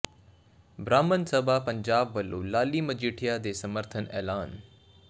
ਬ੍ਰਾਹਮਣ ਸਭਾ ਪੰਜਾਬ ਵਲੋਂ ਲਾਲੀ ਮਜੀਠੀਆ ਦੇ ਸਮਰਥਨ ਐਲਾਨ